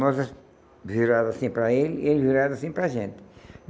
Nós virados assim para ele e ele virado assim para a gente.